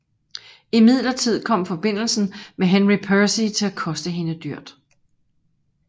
Imidlertid kom forbindelsen med Henry Percy til at koste hende dyrt